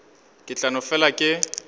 ke tla no fela ke